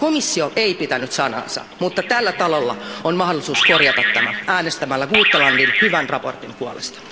Komissio ei pitänyt sanaansa, mutta tällä talolla on mahdollisuus korjata tämä äänestämällä muuttavan hyvän mietinnön puolesta.